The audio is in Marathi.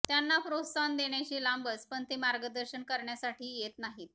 त्यांना प्रोत्साहन देण्याचे लांबच पण ते मार्गदर्शन करण्यासाठीही येत नाहीत